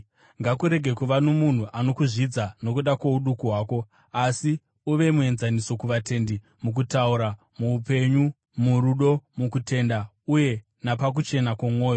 Ngakurege kuva nomunhu anokuzvidza nokuda kwouduku hwako, asi uve muenzaniso kuvatendi mukutaura, muupenyu, murudo, mukutenda uye napakuchena kwomwoyo.